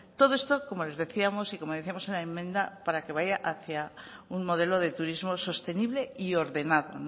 todo esto como les decíamos y como decíamos en la enmienda para que vaya hacia un modelo de turismo sostenible y ordenado